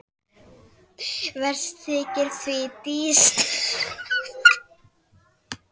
Verst þykir því dísæt lyktin af lifur.